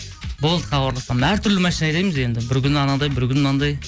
болды хабарласам әртүрлі машина айдаймыз енді бір күні анандай бір күні мынандай